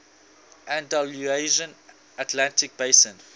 andalusian atlantic basin